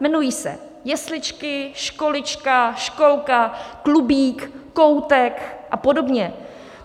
Jmenují se jesličky, školička, školka, klubík, koutek a podobně.